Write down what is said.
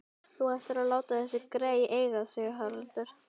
Þú ættir að láta þessi grey eiga sig, Haraldur